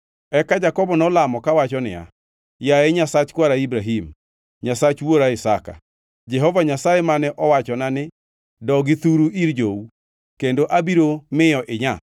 Eka Jakobo nolamo kawacho niya, “Yaye Nyasach kwara Ibrahim, Nyasach wuora Isaka, Jehova Nyasaye mane owachona ni, ‘Dogi thuru ir jou, kendo abiro miyo inyaa,’